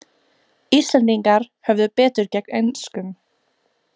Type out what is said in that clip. Íslendingar höfðu betur gegn enskum